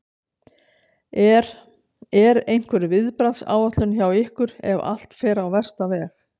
Er, er einhver viðbragðsáætlun hjá ykkur ef að allt fer á versta veg?